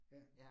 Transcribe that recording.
Ja